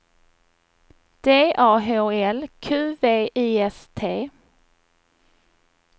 D A H L Q V I S T